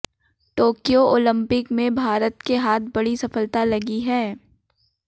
Tokyo Olympic में भारत के हाथ बड़ी सफलता लगी है